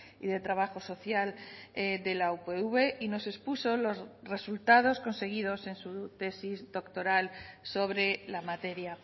y de trabajo social de la upv y nos expuso los resultados conseguidos en su tesis doctoral sobre la materia